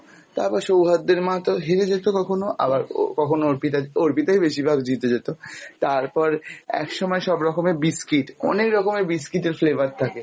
তারপর সৌহার্দের মা তো হেরে যেতে কখনো আবার কখন অর্পিতা অর্পিতায় বেশিরভাগ জিতে যেত তারপর একসময় সব রকমের biscuit অনেক রকমের biscuit এর flavour থাকে